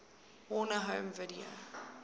warner home video